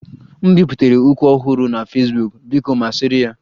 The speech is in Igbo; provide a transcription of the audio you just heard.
M biputere ukwu ọhụrụ na Fesbuk, biko masịrị ya